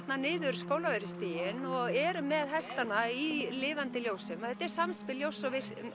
niður Skólavörðustíginn og eru með hestana í lifandi ljósum þetta er samspil ljóss